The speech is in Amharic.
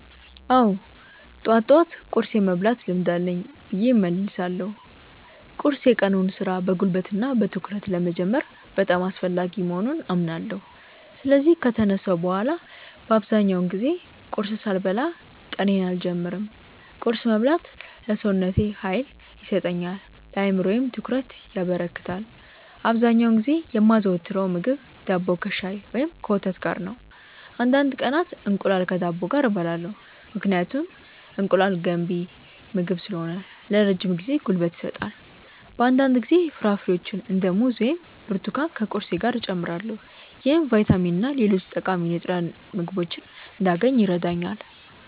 አዎ፣ ጠዋት ጠዋት ቁርስ የመብላት ልምድ አለኝ ብዬ እመልሳለሁ። ቁርስ የቀኑን ሥራ በጉልበትና በትኩረት ለመጀመር በጣም አስፈላጊ መሆኑን አምናለሁ። ስለዚህ ከተነሳሁ በኋላ በአብዛኛው ጊዜ ቁርስ ሳልበላ ቀኔን አልጀምርም። ቁርስ መብላት ለሰውነቴ ኃይል ይሰጠኛል፣ ለአእምሮዬም ትኩረት ያበረክታል። አብዛኛውን ጊዜ የማዘወትረው ምግብ ዳቦ ከሻይ ወይም ከወተት ጋር ነው። አንዳንድ ቀናት እንቁላል ከዳቦ ጋር እበላለሁ፣ ምክንያቱም እንቁላል ገንቢ ምግብ ስለሆነ ለረጅም ጊዜ ጉልበት ይሰጣል። በአንዳንድ ጊዜ ፍራፍሬዎችን እንደ ሙዝ ወይም ብርቱካን ከቁርሴ ጋር እጨምራለሁ። ይህም ቫይታሚንና ሌሎች ጠቃሚ ንጥረ ምግቦችን እንዳገኝ ይረዳኛል።